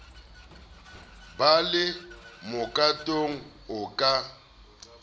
ba le mokatong o ka